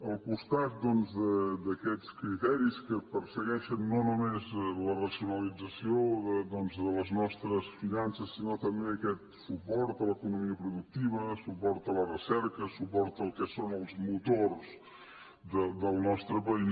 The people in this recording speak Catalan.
al costat doncs d’aquests criteris que persegueixen no només la racionalització de les nostres finances sinó també aquest suport a l’economia productiva suport a la recerca suport al que són els motors del nostre país